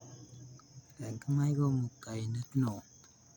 Eng imai ii kamuktainet ne o